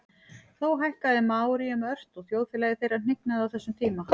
þó fækkaði maóríum ört og þjóðfélagi þeirra hnignaði á þessum tíma